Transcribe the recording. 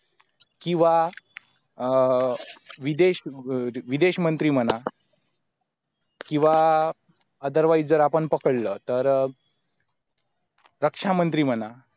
किंवा अह विदेश विदेशमंत्री म्हणा किंवा otherwise जर आपण पकडलं तर तर रक्षामंत्री म्हणा